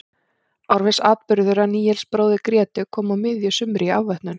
Árviss atburður að Níels bróðir Grétu kom á miðju sumri í afvötnun.